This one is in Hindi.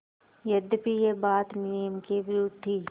यद्यपि यह बात नियम के विरुद्ध थी